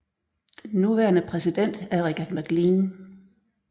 Den nuværende præsident er Richard MacLean